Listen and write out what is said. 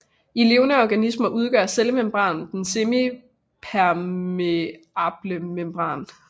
I levende organismer udgør cellemembranen den semipermeablemembran